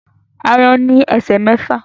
Aáyán ní esè mẹfa